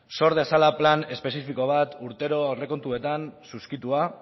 sor dezala plan espezifiko bat urtero aurrekontuetan suskritua